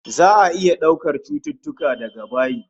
Za'a iya daukar cututtuka daga bayi